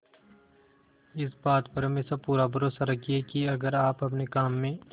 इस बात पर हमेशा पूरा भरोसा रखिये की अगर आप अपने काम में